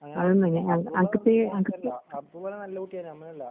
അബ്ദുള്ളാനല്ലകുട്ടിയാണ് നമ്മളല്ലാ